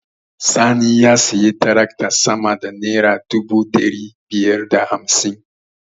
Sani ya sayi taraktar sama da naira dubu ɗari biyar da hamsin.